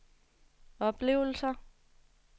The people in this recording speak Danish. oplevelser